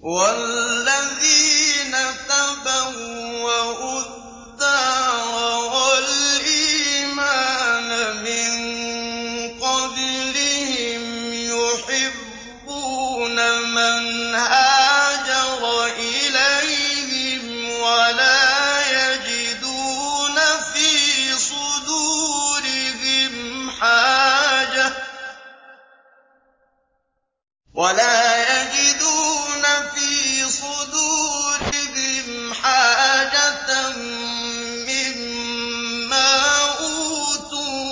وَالَّذِينَ تَبَوَّءُوا الدَّارَ وَالْإِيمَانَ مِن قَبْلِهِمْ يُحِبُّونَ مَنْ هَاجَرَ إِلَيْهِمْ وَلَا يَجِدُونَ فِي صُدُورِهِمْ حَاجَةً مِّمَّا أُوتُوا